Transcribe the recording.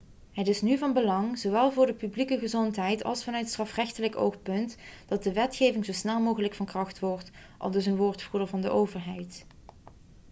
'het is nu van belang zowel voor de publieke gezondheid als vanuit strafrechtelijk oogpunt dat de wetgeving zo snel mogelijk van kracht wordt,' aldus een woordvoerder van de overheid